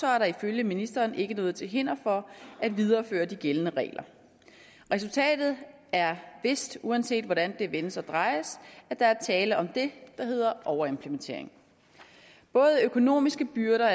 er der ifølge ministeren ikke noget til hinder for at videreføre de gældende regler resultatet er vist uanset hvordan det vendes at drejes at der er tale om det der hedder overimplementering både økonomiske byrder